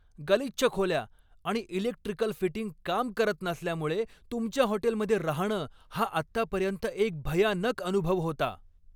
गलिच्छ खोल्या आणि इलेक्ट्रिकल फिटिंग काम करत नसल्यामुळे तुमच्या हॉटेलमध्ये राहणं हा आत्तापर्यंत एक भयानक अनुभव होता.